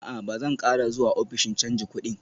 A'a, Ba zan ƙara zuwa ofishin canji kudin